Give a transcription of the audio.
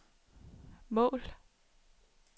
mål